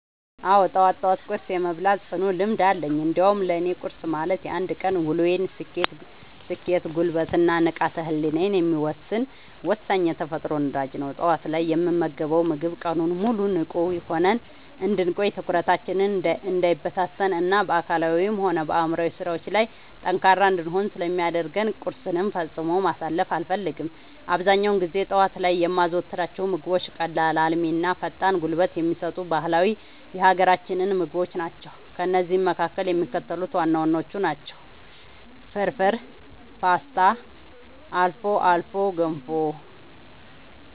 አዎ፣ ጠዋት ጠዋት ቁርስ የመብላት ጽኑ ልምድ አለኝ። እንዲያውም ለእኔ ቁርስ ማለት የአንድ ቀን ውሎዬን ስኬት፣ ጉልበት እና ንቃተ ህሊናዬን የሚወሰን ወሳኝ የተፈጥሮ ነዳጅ ነው። ጠዋት ላይ የምንመገበው ምግብ ቀኑን ሙሉ ንቁ ሆነን እንድንቆይ፣ ትኩረታችን እንዳይበታተን እና በአካላዊም ሆነ በአእምሯዊ ስራዎቻችን ላይ ጠንካራ እንድንሆን ስለሚያደርገን ቁርስን ፈጽሞ ማሳለፍ አልፈልግም። አብዛኛውን ጊዜ ጠዋት ላይ የማዘወትራቸው ምግቦች ቀላል፣ አልሚ እና ፈጣን ጉልበት የሚሰጡ ባህላዊ የሀገራችንን ምግቦች ናቸው። ከእነዚህም መካከል የሚከተሉት ዋና ዋናዎቹ ናቸው፦ ፍርፍር: ፖስታ: አልፎ አልፎ ገንፎ